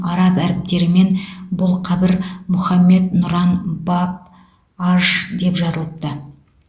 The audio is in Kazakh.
араб әріптерімен бұл қабір мұхаммед нұран баб аж деп жазылыпты